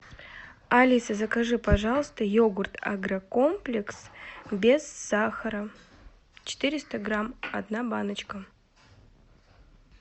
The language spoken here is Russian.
алиса закажи пожалуйста йогурт агрокомплекс без сахара четыреста грамм одна баночка